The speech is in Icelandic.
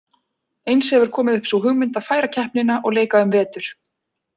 Eins hefur komið upp sú hugmynd að færa keppnina og leika um vetur.